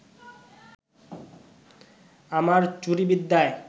আমার চুরি বিদ্যায়